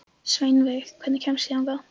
Sveinveig, hvernig kemst ég þangað?